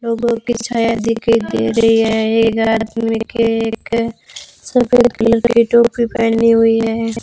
लोगों की छाया दिखाई दे रही एक आदमी के एक सफेद कलर की टोपी पहनी हुई है।